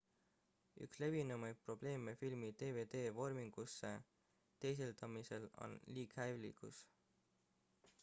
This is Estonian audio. üks levinumaid probleeme filmi dvd-vormingusse teisendamisel on liighälvitus